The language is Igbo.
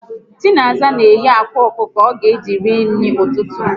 Chinaza n'éghé ákwàọkụkọ ọga eji ri nri ụtụtụ